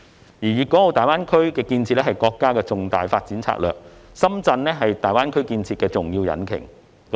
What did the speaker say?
他說道："粵港澳大灣區建設是國家重大發展戰略，深圳是大灣區建設的重要引擎。